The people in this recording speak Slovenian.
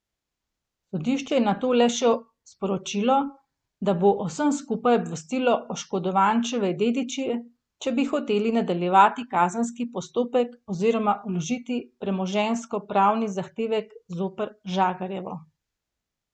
Sodišče je nato le še sporočilo, da bo o vsem skupaj obvestilo oškodovančeve dediče, če bi hoteli nadaljevati kazenski postopek oziroma vložiti premoženjskopravni zahtevek zoper Žagarjevo.